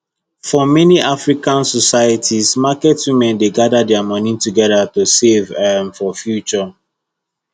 for many african societies market women dey gather their money together to save um for future